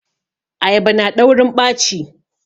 Ayaba na daurin ɓaci